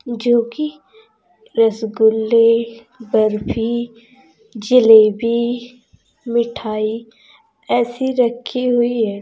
जो की रसगुल्ले बर्फी जलेबी मिठाई ऐसी रखी हुई है।